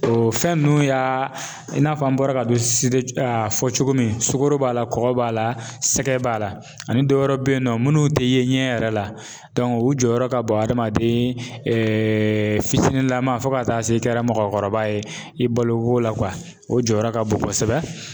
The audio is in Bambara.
O fɛn nunnu y'a i n'a fɔ an bɔra ka don fɔ cogo min sukoro b'a la kɔkɔ b'a la sɛgɛ b'a la ani dɔ wɛrɛ be yen nɔ munnu te ye ɲɛ yɛrɛ la o jɔyɔrɔ ka bon adamaden fitinin lama fɔ ka taa se kɛra mɔgɔkɔrɔba ye i balo ko la o jɔyɔrɔ ka bon kosɛbɛ .